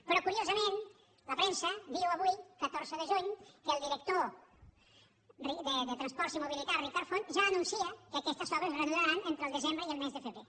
però curiosament la premsa diu avui catorze de juny que el director de transports i mobilitat ricard font ja anuncia que aquestes obres es reprendran entre el desembre i el mes de febrer